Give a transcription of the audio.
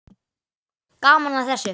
Gaman að þessu.